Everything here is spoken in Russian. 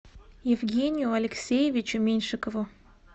евгению алексеевичу меньшикову